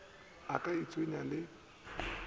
a ka a itshwenya le